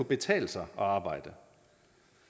betale sig at arbejde